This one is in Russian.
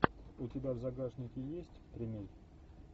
у тебя в загашнике есть кремень